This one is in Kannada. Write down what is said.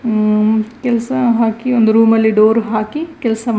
ಹಮ್ ಕೆಲಸ ಹಾಕಿ ಒಂದು ರೂಮ್ ಲ್ಲಿ ಡೋರ್ ಹಾಕಿ ಕೆಲಸ ಮಾಡ್ತಾ ಇದ್ದಾರೆ.